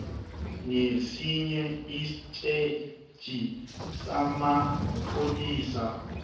nesinye istetjhi samapholisa